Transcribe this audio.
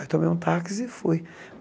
Aí tomei um táxi e fui.